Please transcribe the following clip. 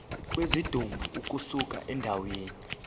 kwesidumbu ukusuka endaweni